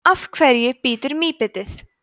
af hverju bítur mýbitið